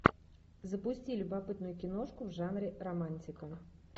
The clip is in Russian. запусти любопытную киношку в жанре романтика